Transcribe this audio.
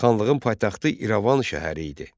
Xanlığın paytaxtı İrəvan şəhəri idi.